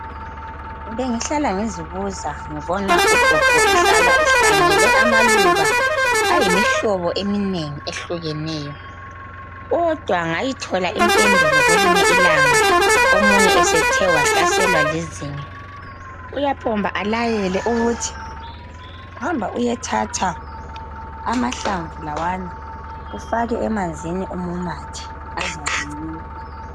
Bengihlala ngizibuza ngibona ugogo ehlala ehlanyele amaluba ayimihlobo eminengi ehlukeneyo . Kodwa ngayithola impendulo kwelinye ilanga omunye esethe wahlaselwa lizinyo .Uyaphomba alayele ukuthi hamba uyethatha amahlamvu lawana ufake emanzini umumathe .Azakunceda .